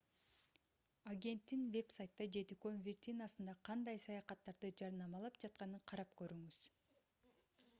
агенттин вебсайтта же дүкөн виртинасында кандай саякаттарды жарнамалап жатканын карап көрүңүз